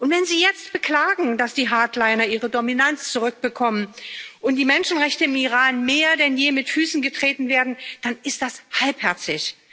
Wenn Sie jetzt beklagen, dass die Hardliner ihre Dominanz zurückbekommen und die Menschenrechte im Iran mehr denn je mit Füßen getreten werden, dann ist das halbherzig.